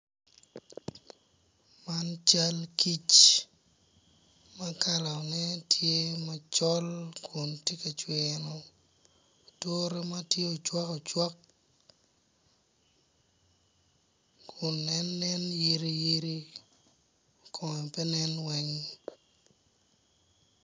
Man cal kic ma kalane tye macol kun tye ka cwino ature ma kalane tye ocwak owack kun en nen yiriyiri kun en pe nen weng.